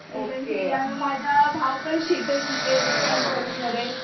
मी पण माझा भाऊ पण शिकतोय तिथेच त्याच कॉलेजमध्ये.